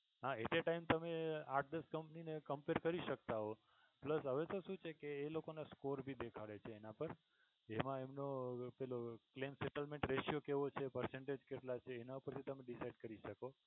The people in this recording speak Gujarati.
હા at a time તમે આઠ દસ company ને compare કરી શકતા હોય એટલે હવે તો શું છે કે એ લોકો ને score ભી દેખાડે છે એના પર એમા એમનું claim satlement ratio કેવો છે પાછો percentage કેટલા એના પરથી decide કરી શકો.